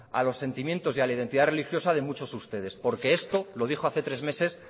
a los sentimientos y a la identidad religiosa de muchos de ustedes porque esto lo dijo hace tres meses